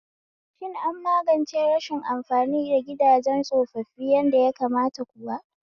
Shin an magance rashin amfani da gidajen tsofaffi yadda ya kamata kuwa?